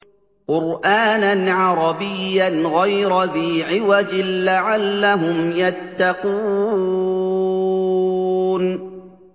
قُرْآنًا عَرَبِيًّا غَيْرَ ذِي عِوَجٍ لَّعَلَّهُمْ يَتَّقُونَ